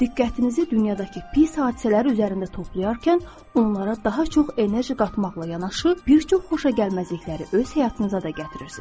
Diqqətinizi dünyadakı pis hadisələri üzərində toplayarkən onlara daha çox enerji qatmaqla yanaşı bir çox xoşagəlməzlikləri öz həyatınıza da gətirirsiz.